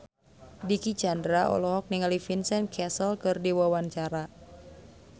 Dicky Chandra olohok ningali Vincent Cassel keur diwawancara